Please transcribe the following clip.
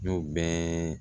N y'o bɛɛ